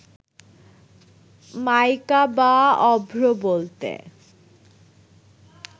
মাইকা বা অভ্র বলতে